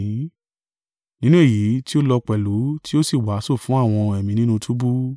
Nínú èyí tí ó lọ pẹ̀lú tí ó sì wàásù fún àwọn ẹ̀mí nínú túbú,